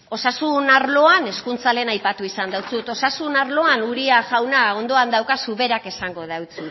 osasun arloan hezkuntza lehen aipatu izan deutsut osasun arloan uria jauna ondoan daukazu berak esango deutsu